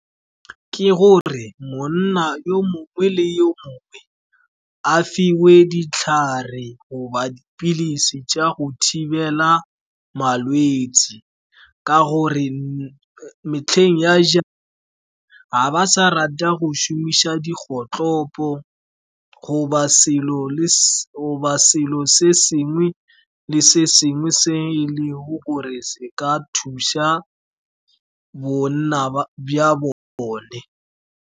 Ke gore monna yo mongwe le yo mongwe a fiwe ditlhare goba dipilisi, jwa tsa go thibela malwetse ka gore metlheng ya , ga ba sa rata go šumiša dikgotlhopo, goba selo se sengwe le sengwe se e leng gore se ka thusa bonna ba bona.